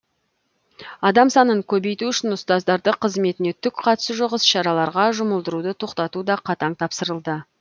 адам санын көбейту үшін ұстаздарды қызметіне түк қатысы жоқ іс шараларға жұмылдыруды тоқтату да қатаң тапсырылды